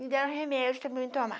Me deram remédio também para eu tomar.